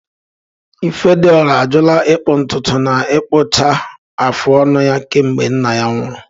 Ifediora ajụla ịkpụ ntutu na ịkpụcha afụ ọnụ ya kemgbe nna ya nwụrụ.